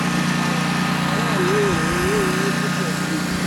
tí ọ̀nà náà kò bá rọrùn aráàlú ò ní ní inú dídùn sí i.